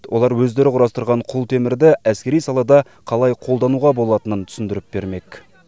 олар өздері құрастырған құлтемірді әскери салада қалай қолдануға болатынын түсіндіріп бермек